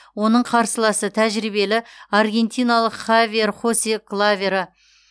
оның қарсыласы тәжірибелі аргентиналық хавьер хосе клаверо